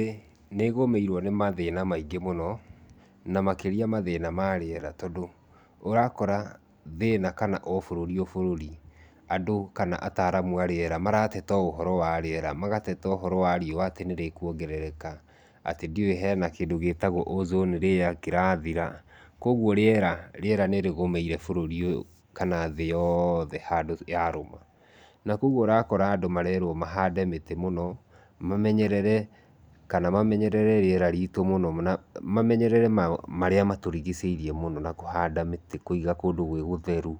ĩ nĩgũmĩirwo nĩ mathina maingĩ mũno na makĩria mathina ma rĩera tondũ ũrakora thĩna kana o bũrũri o bũrũri andũ kana ataaramu a rĩera marateta ũhoro wa rĩera magateta ũhoro wa riũa atĩ nĩrĩ kũongerereka, atĩ ndiũĩ hena kĩndũ gitagwo ozone layer kĩrathira koguo rĩera, rĩera nĩrĩgũmĩire bũrũri ũyũ kana thĩ yothe handũ yarũma, na koguo ũrakora andũ marerwo mahande mĩtĩ mũno, mamenyerere kana mamenyerere rĩera ritũ mũno na mamenyerere marĩa matũrigicĩirie mũno na kũhanda mĩtĩ, kũiga kũndũ gwĩ gũtherũ.